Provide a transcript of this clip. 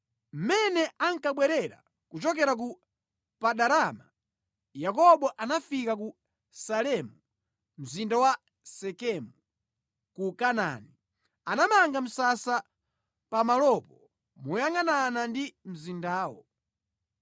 Mmene ankabwerera kuchokera ku Padanaramu, Yakobo anafika ku Salemu, mzinda wa Sekemu ku Kanaani. Anamanga msasa pamalopo moyangʼanana ndi mzindawo.